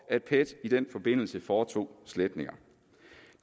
at pet i den forbindelse foretog sletninger